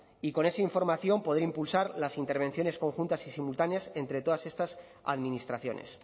y con esa información poder impulsar las intervenciones conjuntas y simultáneas entre todas estas administraciones